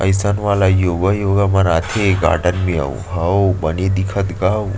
ऐसा वाला युवा - युवा बनाते गार्डन भी वो ह बने दिखत गा वो --